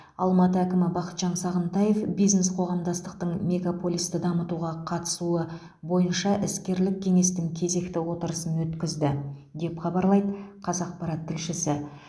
алматы әкімі бақытжан сағынтаев бизнес қоғамдастықтың мегаполисті дамытуға қатысуы бойынша іскерлік кеңестің кезекті отырысын өткізді деп хабарлайды қазақпарат тілшісі